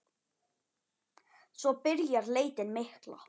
Svo byrjar leitin mikla.